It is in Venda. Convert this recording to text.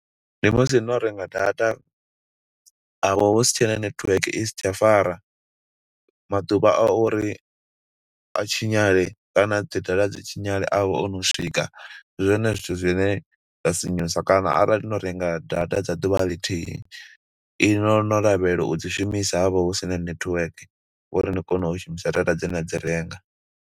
Ndi musi no renga data, ha vha husi tshena netiweke, i si tsha fara. Maḓuvha a uri a tshinyale, kana dzi data dzi tshinyale a vha o no swika, ndi zwone zwithu zwine zwa sinyusa. Kana arali no renga data dza ḓuvha ḽithihi, iṅwi no no lavhelela u dzi shumisa havha hu sina network, uri ni kone u shumisa data dze na dzi renga.